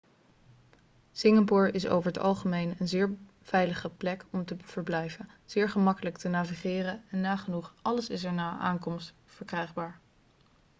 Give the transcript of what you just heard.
singapore is over het algemeen een zeer veilige plek om te verblijven zeer gemakkelijk te navigeren en nagenoeg alles is er na aankomst verkrijgbaar